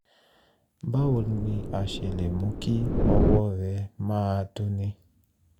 báwo ni a ṣe lè mú kí ọwọ́ rẹ máa dunni?